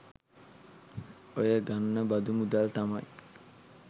ඔය ගන්න බදු මුදල් තමයි